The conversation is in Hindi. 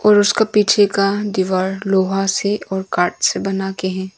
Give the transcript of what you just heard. और उसका पीछे का दीवार लोहा से और कार्ड से बना के है।